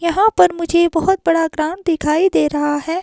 यहां पर मुझे बहुत बड़ा ग्राउंड दिखाई दे रहा है।